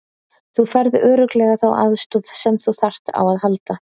Þú færð örugglega þá aðstoð sem þú þarft á að halda.